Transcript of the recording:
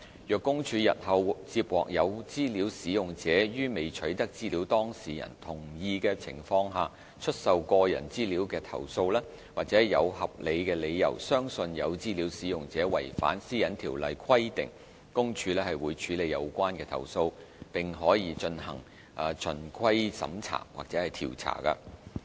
若公署日後接獲有資料使用者於未取得資料當事人同意的情況下出售個人資料的投訴，或有合理理由相信有資料使用者違反上述條例規定，公署會處理有關投訴，亦可進行循規審查或調查。